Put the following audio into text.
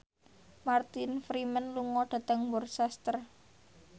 Martin Freeman lunga dhateng Worcester